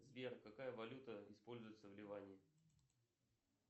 сбер какая валюта используется в ливане